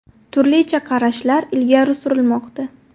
Turlicha qarashlar ilgari surilmoqda.